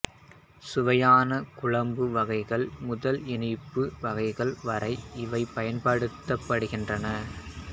சுவையான குழம்பு வகைகள் முதல் இனிப்பு வகைகள் வரை இவை பயன்படுத்தப்படுகின்றன